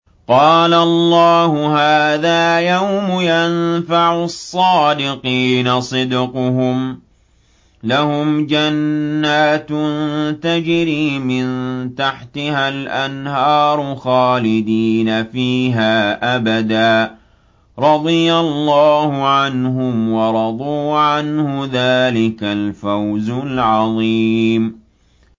قَالَ اللَّهُ هَٰذَا يَوْمُ يَنفَعُ الصَّادِقِينَ صِدْقُهُمْ ۚ لَهُمْ جَنَّاتٌ تَجْرِي مِن تَحْتِهَا الْأَنْهَارُ خَالِدِينَ فِيهَا أَبَدًا ۚ رَّضِيَ اللَّهُ عَنْهُمْ وَرَضُوا عَنْهُ ۚ ذَٰلِكَ الْفَوْزُ الْعَظِيمُ